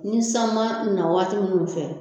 Ni san ma na waati minnu fɛ